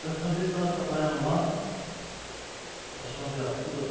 Certa vez eu estava trabalhando lá, passou uma viatura, né?